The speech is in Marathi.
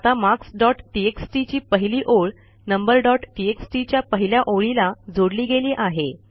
आता मार्क्स डॉट टीएक्सटी ची पहिली ओळ नंबर डॉट टीएक्सटी च्या पहिल्या ओळीला जोडली गेली आहे